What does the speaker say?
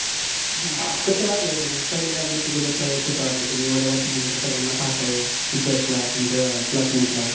हा, मग कस वाटलं होत मग पहिल्या get together च्या वेळेस कस वाटल तुम्ही एवढ्या वर्ष्यानंतर सगळ्यांना पाहताय Teachers ना तुमच्या Classmate ला.